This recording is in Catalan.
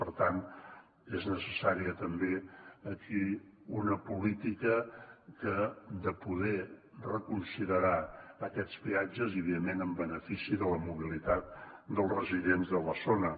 per tant és necessària també aquí una política de poder reconsiderar aquests peatges i evidentment en benefici de la mobilitat dels residents de la zona